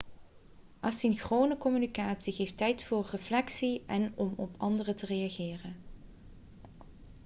asynchrone communicatie geeft tijd voor reflectie en om op anderen te reageren